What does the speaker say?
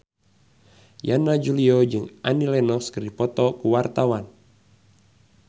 Yana Julio jeung Annie Lenox keur dipoto ku wartawan